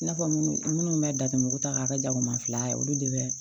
I n'a fɔ minnu bɛ datugu ta k'a kɛ jagoman fila ye olu de bɛ